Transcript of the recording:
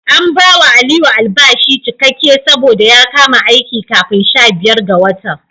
An bawa Aliyu albashi cikakke saboda ya kama aiki kafin sha biyar ga watan.